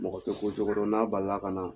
Mɔgɔ tɛ ko cogo dɔn n'a balila ka na